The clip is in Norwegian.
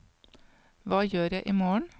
hva gjør jeg imorgen